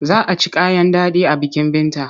Za a ci kayan daɗi a bikin Binta.